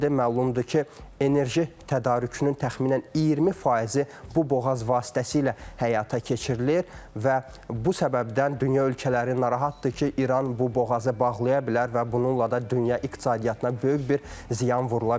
Məlumdur ki, enerji tədarükünün təxminən 20 faizi bu boğaz vasitəsilə həyata keçirilir və bu səbəbdən dünya ölkələri narahatdır ki, İran bu boğazı bağlaya bilər və bununla da dünya iqtisadiyyatına böyük bir ziyan vurula bilər.